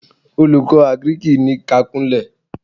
Olùkọ́ àgíríkì ní kí á kúnlẹ̀!